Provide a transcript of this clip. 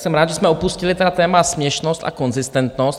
Jsem rád, že jsme opustili téma směšnost a konzistentnost.